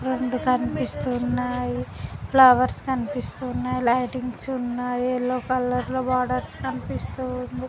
రెండు కనిపిస్తూ ఉన్నాయి. ఫ్లవర్స్ కనిపిస్తున్నాయి. లైటీంగ్స్ ఉన్నాయి. యెల్లో కలర్ లో బోర్డర్స్ కనిపిస్తూ ఉంది.